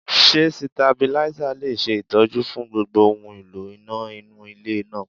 Ṣé Sitabílísà le ṣe Ìtọ́jú fún gbogbo ohun èlò iná nínú ilé náà?